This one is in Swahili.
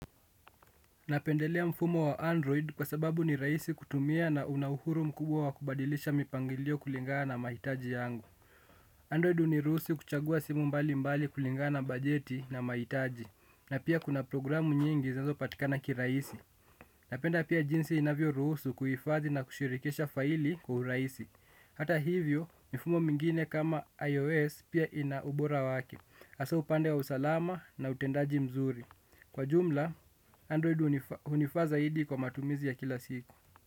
Napendelea mfumo wa Android kwa sababu ni rahisi kutumia na una uhuru mkubwa wa kubadilisha mipangilio kulingana na mahitaji yangu. Android huniruhusu kuchagua simu mbalimbali kulingana na bajeti na mahitaji. Na pia kuna programu nyingi zinazopatikana kirahisi. Napenda pia jinsi inavyorusu kuhifadhi na kushirikisha faili kwa urahisi. Hata hivyo, mifumo mingine kama iOS pia ina ubora wake. Hasa upande wa usalama na utendaji mzuri. Kwa jumla, Android hunifaa zaidi kwa matumizi ya kila siku.